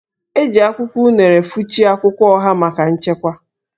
E ji akwụkwọ unere fụchie akwụkwọ oha maka nchekwa